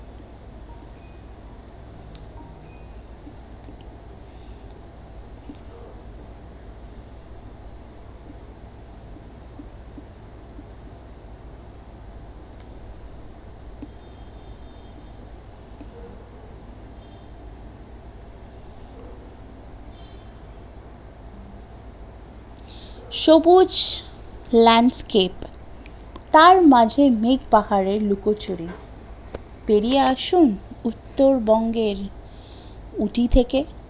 সবুজ landscape, তার মাঝে মেঘ পাহাড়ের লুক ছুড়ি পেরিয়ে আসুন উত্তর বঙ্গের উটি থেকে